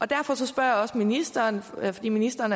derfor spørger jeg også ministeren fordi ministeren